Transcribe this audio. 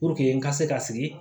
Puruke n ka se ka sigi